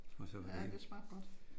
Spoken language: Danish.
Ja det smagte godt